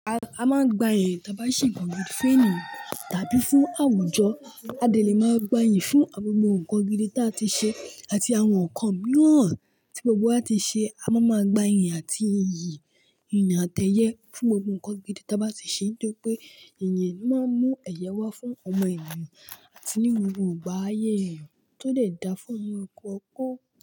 A máa gbayì tí a bá ṣe nnkan gídí fún èèyàn tàbí fún àwùjọ. A dẹ̀ lè máa gbayì fún gbogbo nǹkan gídí tí a ti ṣe àti àwọn nǹkan mìíràn tí gbogbo wa ti ṣe. A máa ma gbayì àti iyì ìyàn àtẹyẹ fún gbogbo nǹkan gídí tí a bá ti ṣe nítorí pé ìyìn lo máa ń mú ẹ̀yẹ wá fún ọmọ ènìyàn àti ní gbogbo ààyè èèyàn tó lè da fún ọmọ ẹ kú ọkọ.